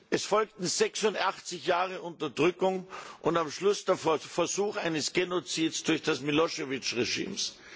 Es folgten 86 Jahre Unterdrückung und am Schluss der Versuch eines Genozids durch das Milošević Regime.